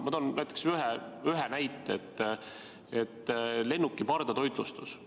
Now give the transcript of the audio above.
Ma toon ühe näite: lennukite pardatoitlustus.